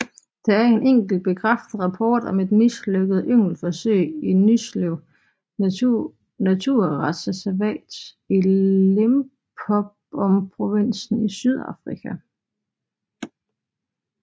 Der er en enkelt bekræftet rapport om et mislykket yngleforsøg i Nylsvley naturreservat i Limpopoprovinsen i Sydafrika